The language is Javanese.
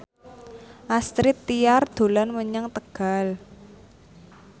Astrid Tiar dolan menyang Tegal